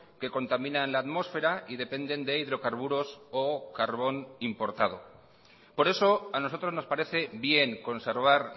que contaminan la atmosfera y dependen de hidrocarburos o carbón importado por eso a nosotros nos parece bien conservar